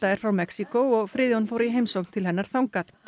er frá Mexíkó og Friðjón fór í heimsókn til hennar þangað